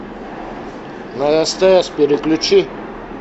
на стс переключи